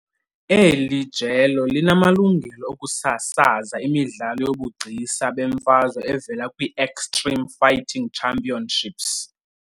Eli jelo linamalungelo okusasaza imidlalo yobugcisa bemfazwe evela kwi-Extreme Fighting Championships.